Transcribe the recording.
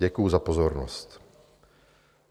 Děkuji za pozornost."